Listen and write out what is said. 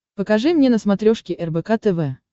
покажи мне на смотрешке рбк тв